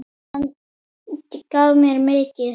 Hann gaf mér mikið.